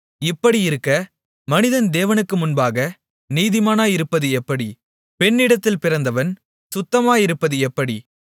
இப்படியிருக்க மனிதன் தேவனுக்கு முன்பாக நீதிமானாயிருப்பது எப்படி பெண்ணிடத்தில் பிறந்தவன் சுத்தமாயிருப்பது எப்படி